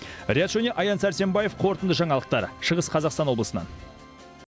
риат шони аян сәрсенбаев қорытынды жаңалықтар шығыс қазақстан облысынан